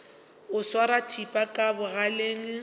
o swara thipa ka bogaleng